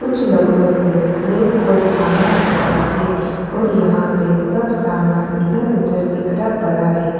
कुछ लकड़ो से स्लैप को थामा रखा है और यहां पर सब सामान इधर-उधर बिखरा पड़ा है।